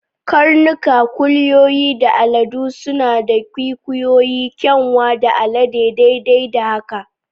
Karnuka, kuliyoyi, da aladu suna da kwikwiyo, kyanwa, da alade, daidai da haka.